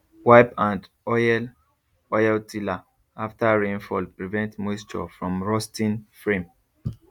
wipe and oil oil tiller after rainfall prevent moisture from rusting frame